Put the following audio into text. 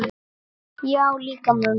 Já, líka mömmu